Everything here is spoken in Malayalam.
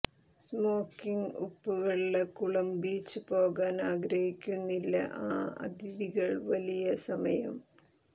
സ്മോക്കിംഗ് ഉപ്പുവെള്ള കുളം ബീച്ച് പോകാൻ ആഗ്രഹിക്കുന്നില്ല ആ അതിഥികൾ വലിയ സമയം